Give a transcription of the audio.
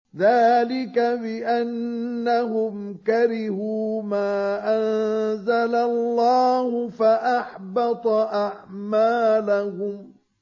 ذَٰلِكَ بِأَنَّهُمْ كَرِهُوا مَا أَنزَلَ اللَّهُ فَأَحْبَطَ أَعْمَالَهُمْ